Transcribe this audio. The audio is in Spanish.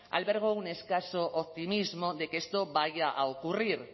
albergo un escaso optimismo de que esto vaya a ocurrir